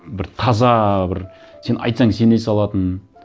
бір таза бір сен айтсаң сене салатын